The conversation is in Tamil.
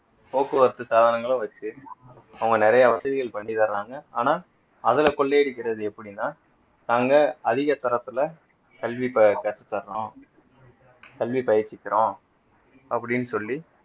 போக்குவரத்து சாதனங்களை வச்சு அவங்க நிறைய வசதிகள் பண்ணி தராங்க ஆனா அதுல கொள்ளையடிக்கிறது எப்படின்னா நாங்க அதிக தரத்துல கல்வி ப கற்று தர்றோம் கல்வி பயிற்சிக்கிறோம் அப்படின்னு சொல்லி